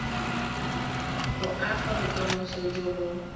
go aga bokamoso jo bo